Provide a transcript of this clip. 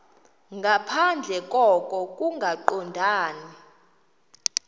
nangaphandle koko kungaqondani